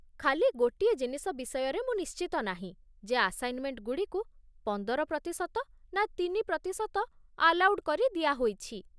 ଖାଲି ଗୋଟିଏ ଜିନିଷ ବିଷୟରେ ମୁଁ ନିଶ୍ଚିତ ନାହିଁ ଯେ ଆସାଇନ୍‌ମେଣ୍ଟଗୁଡ଼ିକୁ ପନ୍ଦର ପ୍ରତିଶତ ନା ତିନି ପ୍ରତିଶତ ଆଲାଉଡ୍ କରି ଦିଆ ହୋଇଛି ।